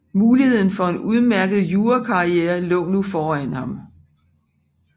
Muligheden for en udmærket jurakarriere lå nu foran ham